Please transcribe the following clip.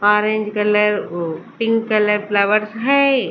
Orange colour ओ pink colour flowers हैए ।